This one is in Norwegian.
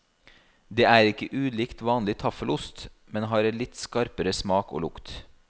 Det er ikke ulikt vanlig taffelost, men har en litt skarpere smak og lukt.